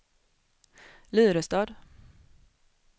Lyrestad